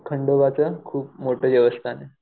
खंडोबाचं खूप मोठं देवस्थान आहे.